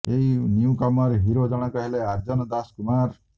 ଏହି newcomer hero ଜଣକ ହେଲେ ଆର୍ଯ୍ୟନ୍ ଦାଶ କୁମାର